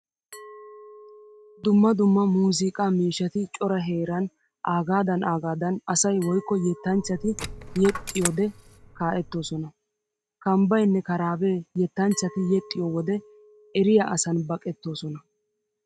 Dumma dumma muuziiqaa miishshati cora heeran aagaadan aagaadan asay woykko yettanchchati yexxiyode kaa'ettoosona. Kambbaynne karaabee yettanchchati yexxiyo wode eriya asan baqettoosona.